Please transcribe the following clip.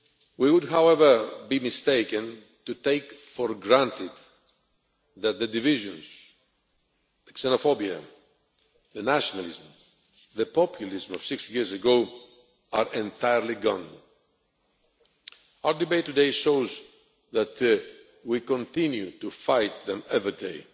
We would, however, be mistaken to take for granted that the divisions, the xenophobia, the nationalism, the populism of 60 years ago are entirely gone. Our debate today shows that we continue to fight them every day